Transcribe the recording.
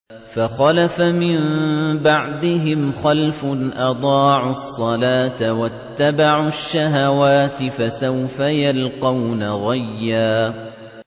۞ فَخَلَفَ مِن بَعْدِهِمْ خَلْفٌ أَضَاعُوا الصَّلَاةَ وَاتَّبَعُوا الشَّهَوَاتِ ۖ فَسَوْفَ يَلْقَوْنَ غَيًّا